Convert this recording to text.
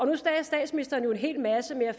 nu sagde statsministeren jo en hel masse men jeg